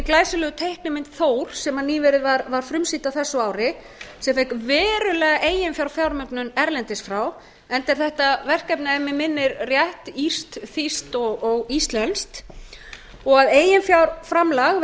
glæsilegu teiknimynd þór sem nýverið var frumsýnd á þessu ári sem fékk verulega eiginfjármögnun erlendis frá enda er þetta verkefni að mig minnir rétt írskt þýskt og íslenskt og eiginfjárframlag